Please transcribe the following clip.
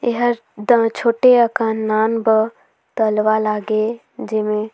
एहर दल छोटे अकन नान ब तलवा लागे जेमे--